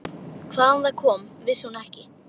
Hvaðan það kom vissi hún ekki.